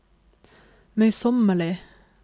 møysommelig